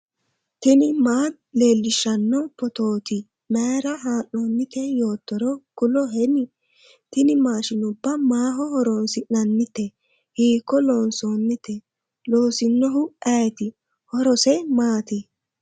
tini maa leellishshanno phootooti mayra haa'noonnite yoottoro kuloheni ? tini maashinuba maaho horoonsi'nannite hiiko loonsoonite ? loosinohu ayeeti ? horose maati?